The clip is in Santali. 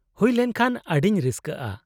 -ᱦᱩᱭ ᱞᱮᱱᱠᱷᱟᱱ ᱟᱹᱰᱤᱧ ᱨᱟᱹᱥᱠᱟᱹᱜᱼᱟ ᱾